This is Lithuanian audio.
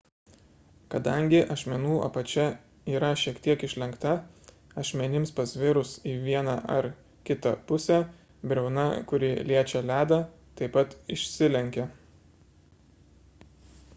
kadangi ašmenų apačia yra šiek tiek išlenkta ašmenims pasvirus į vieną ar kitą pusę briauna kuri liečia ledą taip pat išsilenkia